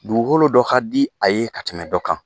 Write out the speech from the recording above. Dugukolo dɔ ka di a ye ka tɛmɛ dɔ kan.